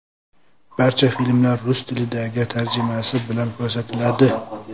Barcha filmlar rus tilidagi tarjimasi bilan ko‘rsatiladi.